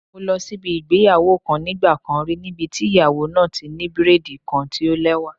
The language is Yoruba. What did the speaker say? Mo lọ síbi ìgbéyàwó kan nígbà kan rí níbi tí ìyàwó náà ti ní braid kan tí o lẹ́wà.